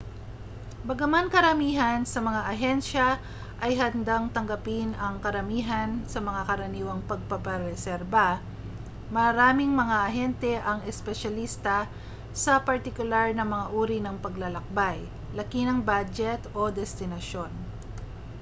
bagaman karamihan sa mga ahensya ay handang tanggapin ang karamihan sa mga karaniwang pagpapareserba maraming mga ahente ang espesyalista sa partikular na mga uri ng paglalakbay laki ng badyet o destinasyon